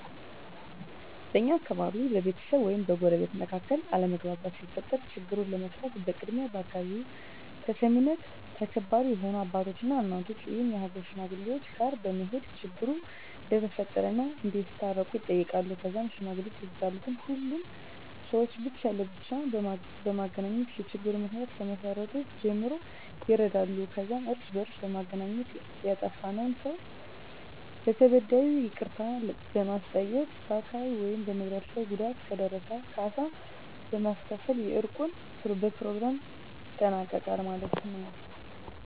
በእኛ አካባቢ በቤተሰብ ወይም በጎረቤቶች መካከል አለመግባባት ሲፈጠር ችግሩን ለመፍታት በቅድሚያ በአካባቢው ተሰሚነትና ተከባሪ የሆኑ አባቶች እና እናቶች ወይም የሀገር ሽማግሌወች ጋር በመሄድ ችግሩ እንደተፈጠረ እና እንዲያስታርቁ ይጠየቃሉ ከዛም ሽማግሌወች የተጣሉትን ሁሉንም ሰውች ብቻ ለብቻ በማግኘት የችግሩን ምክንያ ከመሰረቱ ጀምሮ ይረዳሉ ከዛም እርስ በእርስ በማገናኘት ያጠፍውን ሰው ለተበዳዩ ይቅርታ በማስጠየቅ በአካል ወይም በንብረት ላይ ጉዳት ከደረሰ ካሳ በማስከፈል የእርቁን በኘሮግራሙ ይጠናቀቃል ማለት የው።